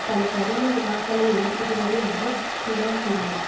பல கடின வினாக்களை எழுப்புகிறது என்று பிடென் கூறினார்